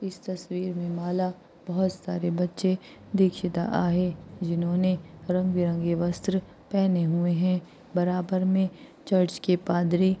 इस तसवीर में मला बहुत सारे बच्चे दीक्षित आहे जिन्होने रंग बिरंगी वस्त्र पहने हुए हैं बराबर में चर्च के पादरी--